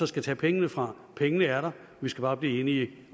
skal tage pengene fra pengene er der vi skal bare blive enige